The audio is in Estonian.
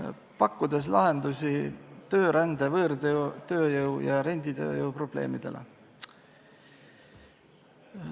See seadus pakub lahendusi töörände, võõrtööjõu ja renditööjõu probleemidele.